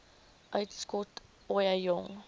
uitskot ooie jong